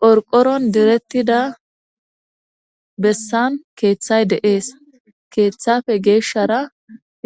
qorqoron direttida bessan keeththay de7ees keeththafe geeshshara